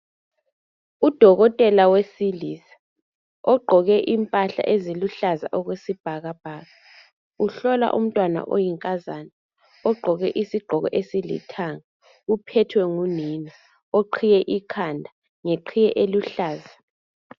Udokotela wesilisa ogqoke impahla eziluhlaza okwesibhakabhaka uhlola umntwana oyinkazana ogqoke isigqoko esilithanga uphethwe ngunina, oqhiye ikhanda ngeqhiye eluhlaza.